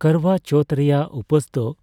ᱠᱚᱨᱵᱟ ᱪᱳᱣᱛᱷ ᱨᱮᱭᱟᱜ ᱩᱯᱟᱹᱥ ᱫᱚ